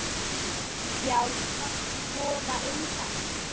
Já takk, voða indælt